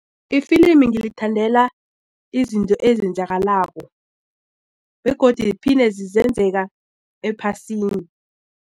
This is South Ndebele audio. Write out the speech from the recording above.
Ifilimi ngilithandela izinto ezenzakalako begodi ziphinda zenzeka ephasini.